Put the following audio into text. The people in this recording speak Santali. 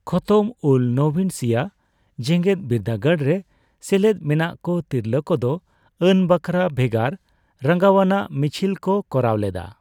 ᱠᱷᱚᱛᱚᱢᱼᱩᱞᱼᱱᱚᱵᱤᱱ ᱥᱤᱭᱟ ᱡᱮᱜᱮᱫ ᱵᱤᱨᱫᱟᱹᱜᱟᱲ ᱨᱮ ᱥᱮᱞᱮᱫ ᱢᱮᱱᱟᱜ ᱠᱚ ᱛᱤᱨᱞᱟᱹ ᱠᱚᱫᱚ ᱟᱹᱱ ᱵᱟᱠᱷᱨᱟ ᱵᱷᱮᱜᱟᱨ ᱨᱟᱸᱜᱟᱣᱱᱟ ᱢᱤᱪᱷᱤᱞ ᱠᱚ ᱠᱚᱨᱟᱣ ᱞᱮᱫᱟ ᱾